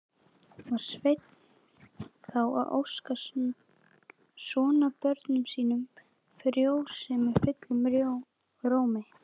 Var Sveinn þá að óska sonarbörnum sínum frjósemi fullum rómi.